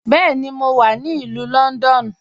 Bẹẹni, mo wà ni Ilù Lọ́ndọ́nù.